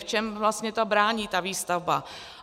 V čem vlastně to brání výstavbě?